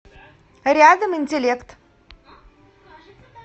рядом интеллект